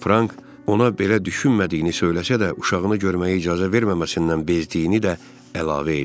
Frank ona belə düşünmədiyini söyləsə də, uşağını görməyə icazə verməməsindən bezdiyini də əlavə edib.